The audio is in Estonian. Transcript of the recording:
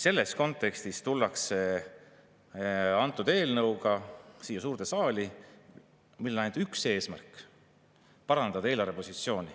Selles kontekstis tullakse siia suurde saali eelnõuga, millel on ainult üks eesmärk: parandada eelarvepositsiooni.